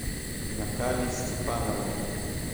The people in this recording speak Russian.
натальи степановны